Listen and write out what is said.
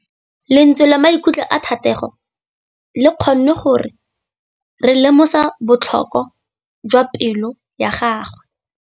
Lentswe la maikutlo a Thategô le kgonne gore re lemosa botlhoko jwa pelô ya gagwe.